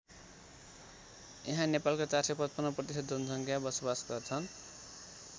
यहाँ नेपालको ४५५ प्रतिशत जनसङ्ख्या बसोबास गर्छन्।